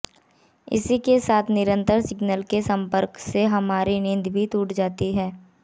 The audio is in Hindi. इसी के साथ निरंतर सिग्नल के संपर्क से हमारी नींद भी टूट जाती है